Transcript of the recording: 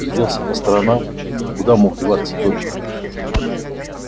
огляделся по сторонам куда мог деваться добби